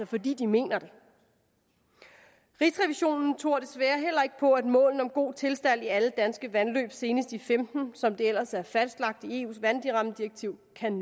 fordi de mener det rigsrevisionen tror desværre heller ikke på at målene om en god tilstand i alle danske vandløb senest i femten som det ellers er fastlagt i